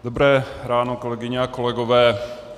Dobré ráno, kolegyně a kolegové.